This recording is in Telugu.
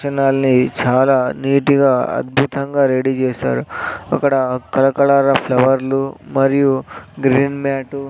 చాలా నీటిగా అద్భుతంగా రెడీ చేశారు అకడ కలకలరా ఫ్లవర్లు మరియు గ్రీన్ మ్యాటు --